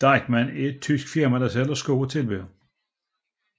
Deichmann er et tysk firma der sælger sko og tilbehør